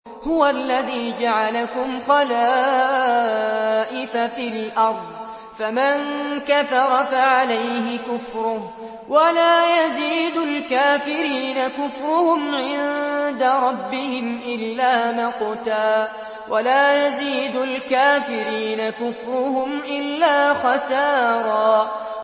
هُوَ الَّذِي جَعَلَكُمْ خَلَائِفَ فِي الْأَرْضِ ۚ فَمَن كَفَرَ فَعَلَيْهِ كُفْرُهُ ۖ وَلَا يَزِيدُ الْكَافِرِينَ كُفْرُهُمْ عِندَ رَبِّهِمْ إِلَّا مَقْتًا ۖ وَلَا يَزِيدُ الْكَافِرِينَ كُفْرُهُمْ إِلَّا خَسَارًا